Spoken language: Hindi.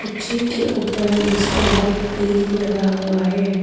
जी के ऊपर डिस्को लाइट भी लगा हुआ है।